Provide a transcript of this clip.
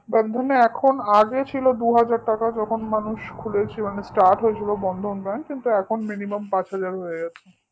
bandhan এ এখন আগে ছিল দুই হাজার টাকা যখন মানুষ খুলে ছিল মানে start হয়েছিল bandhan bank কিন্তু এখন minimum পাচ হাজার হয়ে গেছে